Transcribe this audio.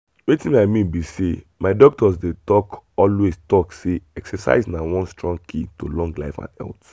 wetin i mean be sey my doctor dey talk always talk say exercise na one strong key to long life and health.